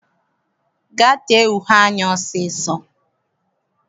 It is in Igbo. Gaa tee uhe anya ọsọ ọsọ!